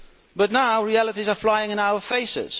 But now realities are flying in our face.